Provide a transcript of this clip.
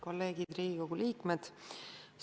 Kolleegid Riigikogu liikmed!